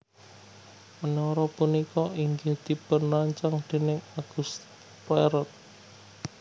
Menara punika inggih dipunrancang déning Auguste Perret